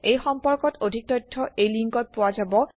এই সম্পৰ্কত অধিক তথ্য এই লিংকত পোৱা যাব